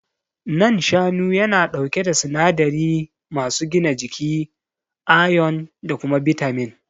Nan shanu yana ɗauke da sinadari masu gina jiki, ayon da kuma bitamin.